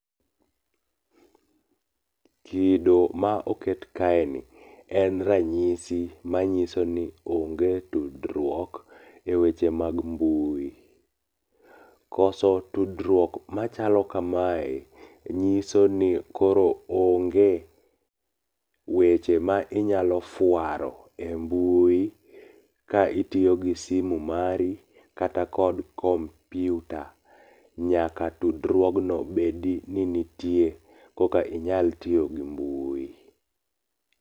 Kido moket kaeni en ranyisi manyiso ni onge tudruok eweche mag mbui. Koso tudruok machalo kamae nyiso ni koro onge weche ma inyalo fuaro embui ka itiyo gi simu mari kata kod kompiuta nyaka tudruogno bedi ni nitie koro eka inyal tiyo gi mbui.